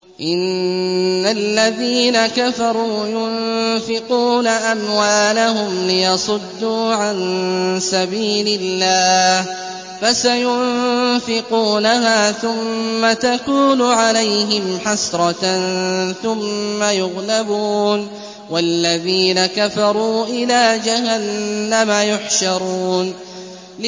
إِنَّ الَّذِينَ كَفَرُوا يُنفِقُونَ أَمْوَالَهُمْ لِيَصُدُّوا عَن سَبِيلِ اللَّهِ ۚ فَسَيُنفِقُونَهَا ثُمَّ تَكُونُ عَلَيْهِمْ حَسْرَةً ثُمَّ يُغْلَبُونَ ۗ وَالَّذِينَ كَفَرُوا إِلَىٰ جَهَنَّمَ يُحْشَرُونَ